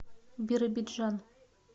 биробиджан